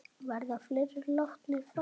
Verða fleiri látnir fara?